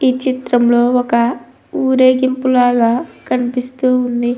ఈ చిత్రంలో ఒక ఊరేగింపు లాగా కనిపిస్తూ ఉంది.